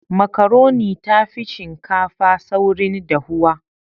Makaroni tafi shinkafa saurin dahuwa